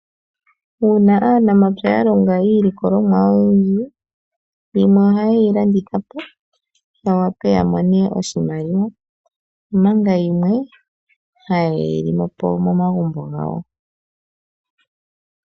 Uuna aanamapya ya longa iilikolomwa oyindji, yimwe ohaye yi landitha po ya wape ya mone oshimaliwa, omanga yimwe haye yi li po momagumbo gawo.